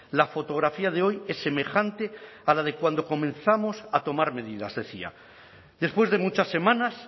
la fotografía de hoy es semejante a la de cuando comenzamos a tomar medidas decía después de muchas semanas